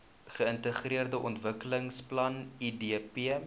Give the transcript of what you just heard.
geintegreerde ontwikkelingsplan idp